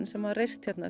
sem var reist hér